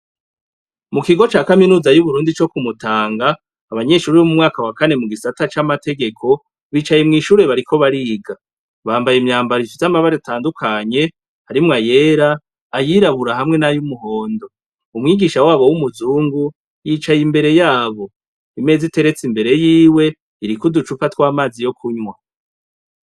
Mu kigo ca kaminuza y'uburundi co kumutanga abanyeshuri b'mu mwaka wa kane mu gisata c'amategeko bicaye mw'ishure bariko bariga bambaye imyambaroisi y'amabare atandukanye harimwo ayera ayirabura hamwe n'ayoumuhondo umwigisha wabo w'umuzungu yicaye imbere yabo imez iteretse imbere yiwe e irikouducupa tw'amazi yo kunywa.